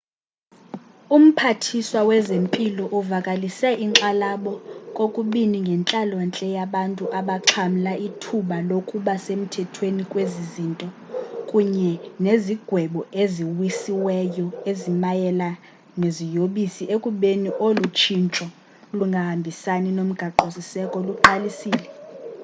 umphathiswa wezempilo uvakalise inkxalabo kokubini ngentlalo-ntle yabantu abaxhamla ithuba lokuba semthethweni kwezi zinto kunye nezigwebo eziwisiweyo ezimayela neziyobisi ekubeni olu tshintsho lungahambisani nomgaqo-siseko luqalisile